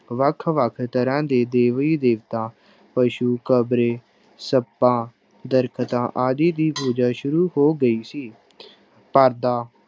ਵੱਖ ਵੱਖ ਤਰ੍ਹਾਂ ਦੇ ਦੇਵੀ ਦੇਵਤਾਂ ਪਸੂ, ਕਬਰੇ, ਸੱਪਾਂ, ਦਰਖਤਾਂ ਆਦਿ ਦੀ ਪੂਜਾ ਸ਼ੁਰੂ ਹੋ ਗਈ ਸੀ ਪਾਦਾਂ